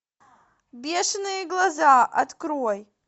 бешеные глаза открой